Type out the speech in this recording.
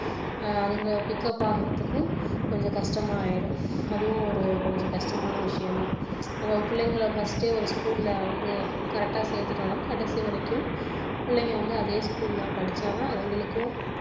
அதுங்க pick up ஆகுறதுக்கும் கொஞ்சம் கஷ்டமாயிடும் அதுவும் ஒரு கொஞ்சம் கஷ்டமான விஷயம் தான் நம்ம பிள்ளைகளை first ஏ ஒரு school ல வந்து correct டா சேர்த்துட்டோம்னா கடைசி வரைக்கும் புள்ளைங்க வந்து அதே school ல படிச்சா தான் அதுங்களுக்கும்